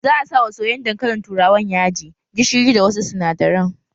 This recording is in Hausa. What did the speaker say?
Za a sa wa soyayyen dankalin turawan yaji, gishiri da wasu sinadaran